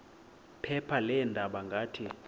phepha leendaba ngathi